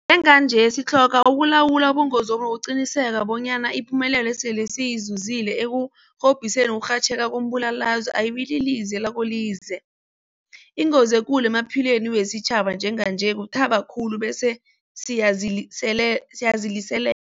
Njenganje sitlhoga ukulawula ubungozobu nokuqinisekisa bonyana ipumelelo esele siyizuzile ekurhobhiseni ukurhatjheka kombulalazwe ayibililize lakolize. Ingozi ekulu emaphilweni wesitjhaba njenganje kuthaba khulu bese siyazilisele